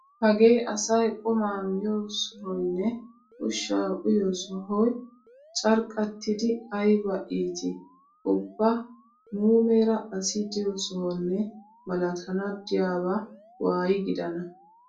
Hagee asayi qumaa miyoo sohoyinne ushshaa uyiyoo sohoyi carqqattidi ayiba iitii! Ubba muumeera asi diyoo sohonne malatana diyaaba waayi gidana.